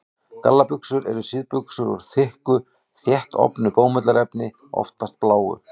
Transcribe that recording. Gallabuxur eru síðbuxur úr þykku, þéttofnu bómullarefni, oftast bláu.